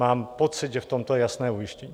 Mám pocit, že v tomto je jasné ujištění.